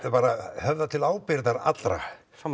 höfða til ábyrgðar allra